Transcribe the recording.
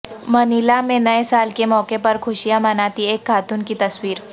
Manila میں نئے سال کے موقع پر خوشیاں مناتی ایک خاتون کی تصویر